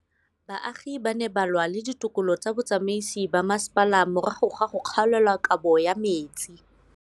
Baagi ba ne ba lwa le ditokolo tsa botsamaisi ba mmasepala morago ga go gaolelwa kabo metsi